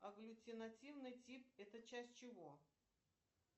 аглютинативный тип это часть чего